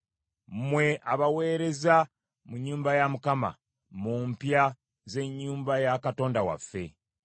mmwe abaweereza mu nnyumba ya Mukama , mu mpya z’ennyumba ya Katonda waffe.